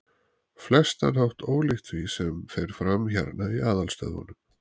flestan hátt ólíkt því, sem fer fram hérna í aðalstöðvunum.